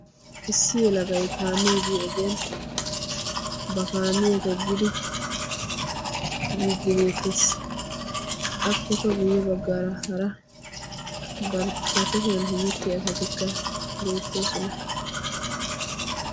Issi yelagay ba kaamiya toggiddi biide beettes. Appe guye bagan hemettiya asatti beettosonna.